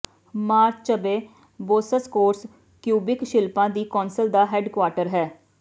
ਮਾਰਚਬੇ ਬੌਸਸਕੋਰਸ ਕਿਊਬਿਕ ਸ਼ਿਲਪਾਂ ਦੀ ਕੌਂਸਲ ਦਾ ਹੈੱਡਕੁਆਰਟਰ ਹੈ